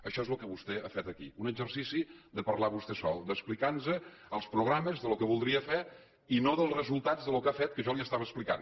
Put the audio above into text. això és el que vostè ha fet aquí un exercici de parlar vostè sol d’explicar nos els programes el que voldria fer i no els resultats del que ha fet que jo li estava explicant